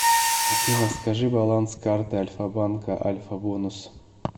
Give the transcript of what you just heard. афина скажи баланс карты альфа банка альфа бонус